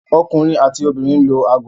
Ọkunrin ati obinrin lo aago